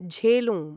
झेलुं